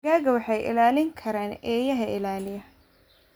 Digaagga waxaa ilaalin kara eeyaha ilaaliya.